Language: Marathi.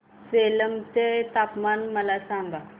सेलम चे तापमान मला सांगा